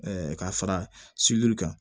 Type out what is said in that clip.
ka fara kan